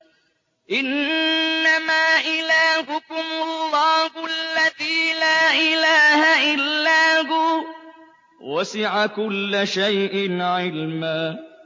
إِنَّمَا إِلَٰهُكُمُ اللَّهُ الَّذِي لَا إِلَٰهَ إِلَّا هُوَ ۚ وَسِعَ كُلَّ شَيْءٍ عِلْمًا